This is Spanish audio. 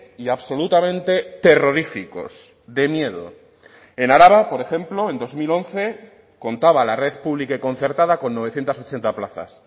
y absolutamente terroríficos de miedo en araba por ejemplo en dos mil once contaba la red pública y concertada con novecientos ochenta plazas